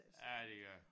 Ja det gør